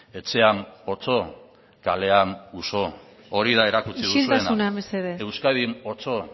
etxean otso kalean uso hori da erakutsi duzuena isiltasuna mesedez euskadin otso